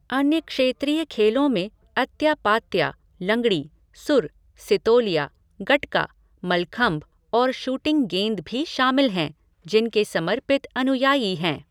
अन्य क्षेत्रीय खेलों में अत्या पात्या, लंगड़ी, सुर, सितोलिया, गटका, मल्लाखम्ब और शूटिंग गेंद भी शामिल हैं जिनके समर्पित अनुयायी हैं।